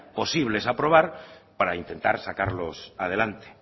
posibles aprobar para intentar sacarlos adelante